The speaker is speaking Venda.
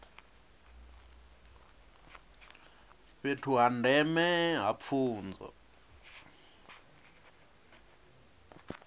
fhethu ha ndeme ha pfunzo